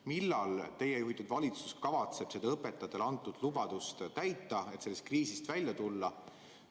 Millal teie juhitud valitsus kavatseb õpetajatele antud lubadust täita, et sellest kriisist välja tulla?